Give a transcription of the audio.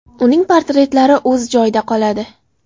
Uning portretlari o‘z joyida qoladi.